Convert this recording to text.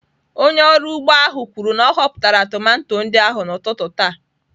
Onye ọrụ ugbo ahụ kwuru na ọ họpụtara tomato ndị ahụ n'ụtụtụ taa.